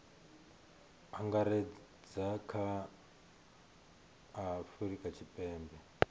angaredza kha a afurika tshipembe